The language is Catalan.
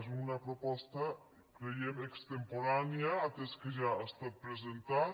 és una proposta creiem extemporània atès que ja ha estat presentat